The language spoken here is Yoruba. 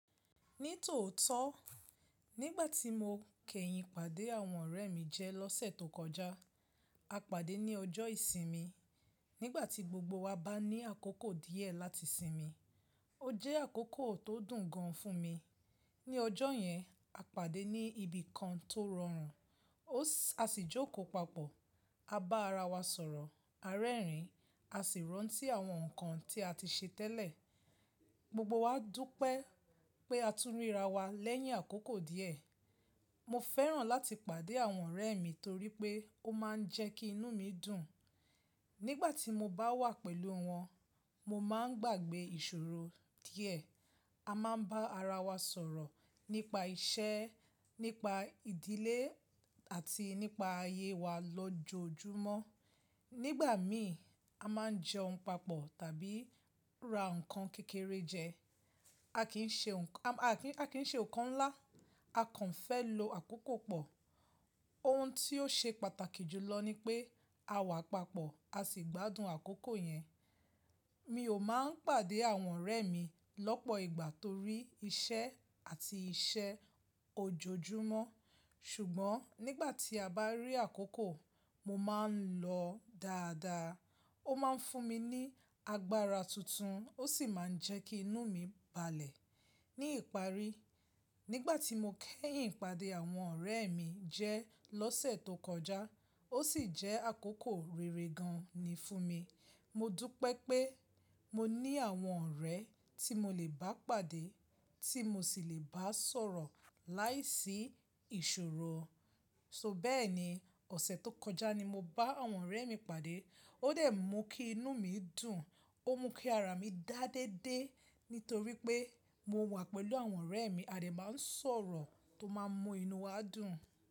Ní tòótọ́ nígbàtí mo kẹ́yìn pàdé àwọn ọ̀rẹ́ mi jẹ lọ́sẹ̀ tó kọjá, a pàdé ní ọjọ́ ìsinmi. Nígbàtí gbogbo wa bá ní àkókò díẹ̀ láti sinmi, ó jẹ́ àkókò tó dùn gan fún mi. Ní ọjọ́ yẹn, a pàdé ní ibi kan tó rọrùn, a sì jókòó papọ̀, a bá ara wa sọ̀rọ̀, a rẹ́rìn-ín, a sì rántí àwọn nǹkan tí a ti ṣe tẹ́lẹ̀. Gbogbo wa dúpẹ́ pé a tún ríra wa lẹ́yìn àkókò díẹ̀. Mo fẹ́ràn láti pàdé àwọn ọ̀rẹ́ mi torí pé ó máa ń jẹ́ kí inú mi dùn. Nígbàtí mo bá wà pẹ̀lú wọn, mo máa ń gbàgbẹ́ ìṣòro díẹ̀. A máa ń bá ara wa sọ̀rọ̀ nípa iṣẹ́, nípa ìdílé àti nípa ayé wa lójoojúmọ́. Nígbà mi, a máa ń jẹun papọ̀ tàbí ra nǹkan kékeré jẹ. A kì í ṣe nǹkan ńlá, a kàn fẹ́ lo àkókò pọ̀. Ohun tí ó ṣe pàtàkì jù lọ ni pé àwa papọ̀, a sì gbádùn àkókò yẹn. Mi ò máa ń pàdé àwọn ọ̀rẹ́ mi lọ́pọ̀ ìgbà torí iṣẹ́ àti iṣẹ́ ojoojúmọ́ ṣùgbọ́n nígbàtí a bá rí àkókò, mo máa ń lọ dáadáa. Ó máa ń fún mi ní agbára tuntun, ó sì máa ń jẹ́ kí inú mi balẹ̀. Ní ìparí, nígbàtí mo kẹ́yìn pàdé àwọn ọ̀rẹ́ mi jẹ lọ́sẹ̀ tó kọjá, ó sì jẹ́ àkókò rere gan ni fún mi. Mo dúpẹ́ pé mo ní àwọn ọ̀rẹ́ tí mo lè bá pàdé tí mo sì lè bá sọ̀rọ̀ láìsí ìṣòro. So bẹ́ẹ̀ni ọ̀sẹ̀ tó kọjá ni mo bá àwọn ọ̀rẹ́ mi pàdé. Ó dẹ̀ mú kí inú mi dùn, ó mú kí ara mi dá de dé nítorí pé mo wà pẹ̀lú àwọn ọ̀rẹ́ mi, a dè máa ń sọ̀rọ̀ tó máa ń mú inú wa dùn.